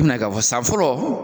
I bɛna k'a fɔ san fɔlɔ